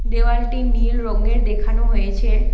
দেওয়ালটি নীল রঙের দেখানো হয়েছে।